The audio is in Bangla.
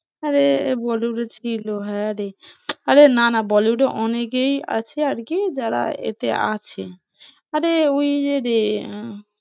আরে bollywood এ ছিল হ্যাঁ রে, আরে না না bollywood এ অনেকেই আছে আর কি যারা এতে আছে আরে ওই যে রে আহ